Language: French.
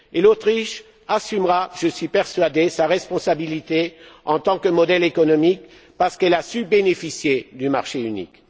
L'Autriche assumera j'en suis persuadé sa responsabilité en tant que modèle économique parce qu'elle a su bénéficier du marché unique.